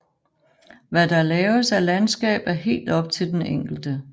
Hvad der laves af landskab er helt op til den enkelte